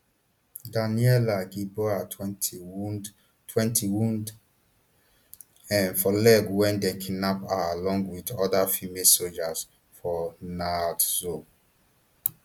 daniela gilboa twenty wound twenty wound um for leg wen dem kidnap her along wit oda female sojas for nahal oz